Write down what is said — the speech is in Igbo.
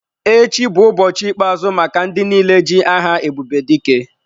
Echi bụ ụbọchị ikpe-azụ maka ndị niile ji aha Ebubedike.